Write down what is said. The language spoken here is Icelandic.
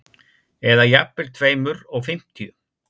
Eða jafnvel tveimur og fimmtíu.